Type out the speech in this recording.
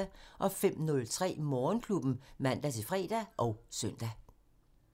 05:03: Morgenklubben (man-fre og søn)